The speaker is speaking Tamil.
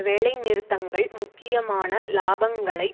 வேலை நிறுத்தங்கள் முக்கியமான இலாபங்களை